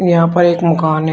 यहां पर एक मकान है।